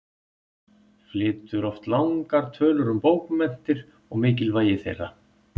Flytur oft langar tölur um bókmenntir og mikilvægi þeirra.